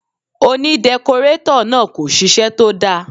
Òní dẹkọrétọ̀ náà kò ṣiṣẹ́ tó dáa.